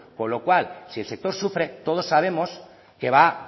con lo cual si el sector sufre todos sabemos que